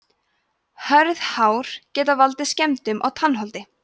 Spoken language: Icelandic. hörð hár geta valdið skemmdum á tannholdi